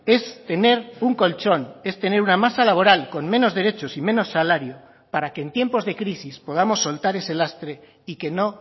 es tener un colchón es tener una masa laboral con menos derechos y menos salario para que en tiempos de crisis podamos soltar ese lastre y que no